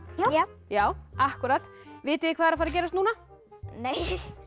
já vitið hvað er að fara að gerast núna nei